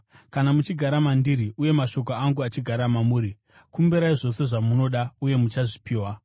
Kana muchigara mandiri uye mashoko angu achigara mamuri, kumbirai zvose zvamunoda, uye muchazvipiwa.